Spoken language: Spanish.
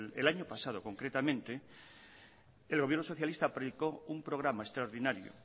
el año pasado concretamente el gobierno socialista proyectó un programa extraordinario